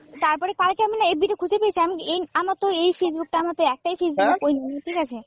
তারপরে কালকে আমিনা এফবি তে খুঁজে পেয়েছি, আমি এই আমার তো এই Facebook টা আমার তো একটাই Facebook ঠিক আছে।